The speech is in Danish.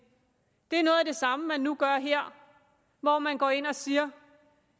samme man nu gør her hvor man går ind og siger